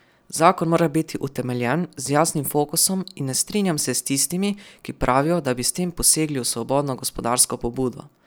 Zakon mora biti utemeljen, z jasnim fokusom in ne strinjam se s tistimi, ki pravijo, da bi s tem posegli v svobodno gospodarsko pobudo.